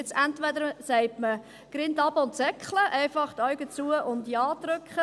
Jetzt sagt man entweder «Grind abe und seckle», also einfach die Augen zu und Ja drücken.